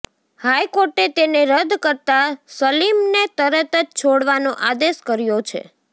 હાઇકોર્ટે તેને રદ કરતા સલીમને તરત જ છોડવાનો આદેશ કર્યો છે